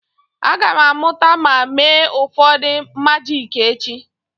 Aga m amụta ma mee ụfọdụ majiki echi.